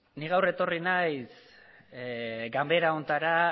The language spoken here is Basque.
ni gaur etorri naiz ganbara honetara